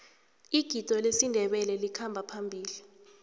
igido lesindebele likhamba phambili